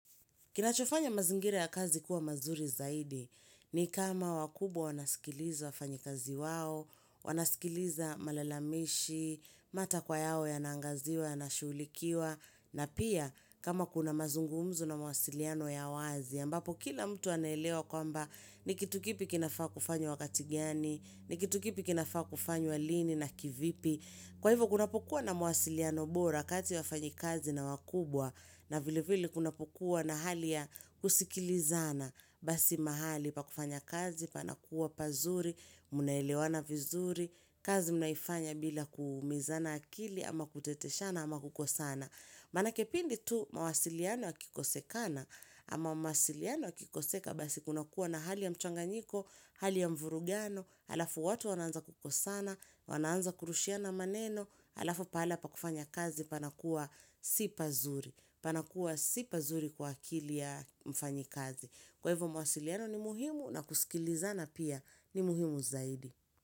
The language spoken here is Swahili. Kinachofanya mazingira ya kazi kuwa mazuri zaidi ni kama wakubwa wanasikiliza wafanyikazi wao, wanasikiliza malalamishi, matakwa yao yanaangaziwa, yanashughulikiwa, na pia kama kuna mazungumzo na mawasiliano ya wazi, ambapo kila mtu anelewa kwamba ni kitu kipi kinafaa kufanywa wakati gani, ni kitu kipi kinafaa kufanywa lini na kivipi. Kwa hivyo kunapokuwa na mawasiliano bora kati ya wafanyi kazi na wakubwa na vilevile kunapokuwa na hali ya kusikilizana basi mahali pa kufanya kazi, panakuwa pazuri, munelewana vizuri, kazi mnaifanya bila kuumizana akili ama kuteteshana ama kukosana. Maanake pindi tu mawasiliano yakikosekana ama mawasiliano yakikoseka basi kunakuwa na hali ya mchanganyiko, hali ya mvurugano, halafu watu wanaanza kukosana, wanaanza kurushiana maneno, halafu pahala pakufanya kazi panakuwa sipazuri, panakuwa sipazuri kwa akili ya mfanyi kazi. Kwa hivyo mawasiliano ni muhimu na kusikilizana pia ni muhimu zaidi.